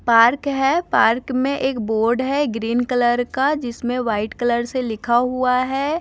Park है park में एक बोर्ड है ग्रीन कलर का जिसमें व्हाइट कलर से लिखा हुआ है।